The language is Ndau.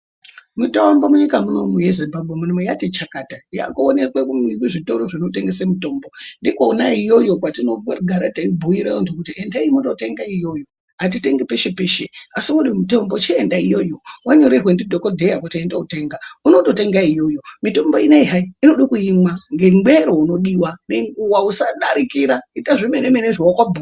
Mitombo munyika munomu yeZimbabwe mwunomwu yati chakata, yakuonekwe kuzvitoro zvitengese mitombo. Ndikona iyoyo kwatinogara teibhuyire vantu kuti endai mundotenga ikweyo. Hatitengi peshe peshe asi wade mitombo chienda iyoyo. Wanyorerwa ndidhokodheya kuti enda wotenga, unototenga iyoyo. Mitombo inoyi hai, inodo kuimwa ngemwero unodiwa, weimwa ngenguwa usadarikira, ita zvemene mene zvawaka bhuyirwa.